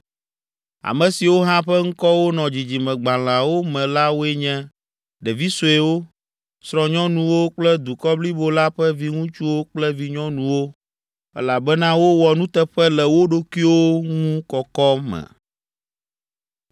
Ame siwo hã ƒe ŋkɔwo nɔ dzidzimegbalẽawo me la woe nye: ɖevi suewo, srɔ̃nyɔnuwo kple dukɔ blibo la ƒe viŋutsuwo kple vinyɔnuwo elabena wowɔ nuteƒe le wo ɖokuiwo ŋu kɔkɔ me.